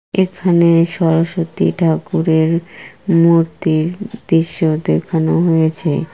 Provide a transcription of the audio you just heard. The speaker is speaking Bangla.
এখানে সরস্বতী ঠাকুরের মূর্তির দৃশ্য দেখানো হয়েছে।